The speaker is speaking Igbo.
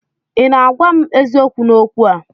Ị na-agwa m eziokwu n'okwu a?